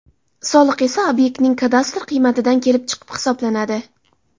Soliq esa obyektning kadastr qiymatidan kelib chiqib hisoblanadi.